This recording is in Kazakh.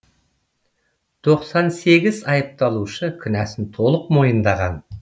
тоқсан сегіз айыпталушы кінәсін толық мойындаған